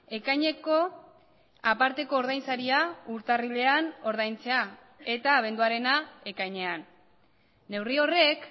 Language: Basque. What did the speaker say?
ekaineko aparteko ordain saria urtarrilean ordaintzea eta abenduarena ekainean neurri horrek